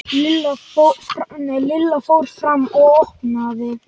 Lilla fór fram og opnaði.